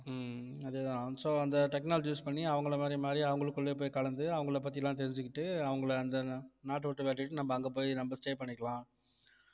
ஹம் அதே தான் so அந்த technology use பண்ணி அவங்களை மாதிரி மாறி அவங்களுக்குள்ளேயே போய் கலந்து அவங்களைப் பத்தி எல்லாம் தெரிஞ்சுக்கிட்டு அவங்களை அந்த நா~ நாட்டைவிட்டு விரட்டிட்டு நம்ம அங்க போய் நம்ம stay பண்ணிக்கலாம்